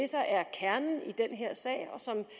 her sag